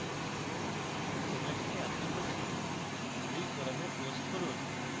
সময়ের সাথে আপনার প্রশ্ন এই forum post করুন